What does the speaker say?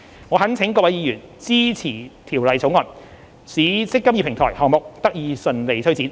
我懇請各位議員支持《條例草案》，使"積金易"平台項目得以順利推展。